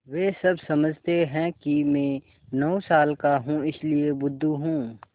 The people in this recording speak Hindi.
वे सब समझते हैं कि मैं नौ साल का हूँ इसलिए मैं बुद्धू हूँ